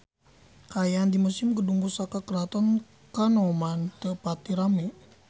Kaayaan di Museum Gedung Pusaka Keraton Kanoman teu pati rame